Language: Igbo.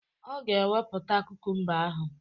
Ọ ga ewepụta kukumba ahụ